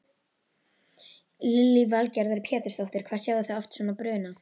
Lillý Valgerður Pétursdóttir: Hvað sjáið þið oft svona bruna?